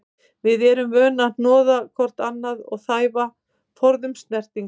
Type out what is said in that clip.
Við sem erum vön að hnoða hvort annað og þæfa, forðumst snertingu.